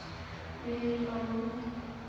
Mig lang